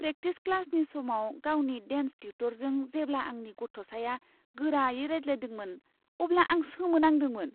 Practice क्लासनि समाव गावनि डेन्स टिउटरजों जेब्ला आंनि गथ'साया गोरायै रायज्लायदोंमोन अब्ला आं सोमो नांदोंमोन।